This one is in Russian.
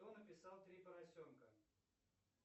кто написал три поросенка